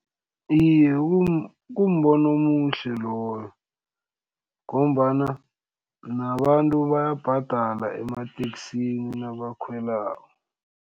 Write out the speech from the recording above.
Iye, kumbono omuhle loyo ngombana nabantu bayabhadala emateksini nabakhwelako.